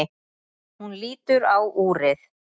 Hún lítur á úrið.